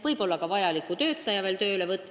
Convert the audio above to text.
Võib-olla on vaja ka uus töötaja tööle võtta.